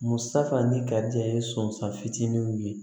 Musa fana ni karijɛ ye sɔn fitininw ye